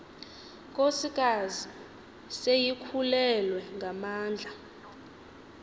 nkosikazi seyikhulelwe ngamandla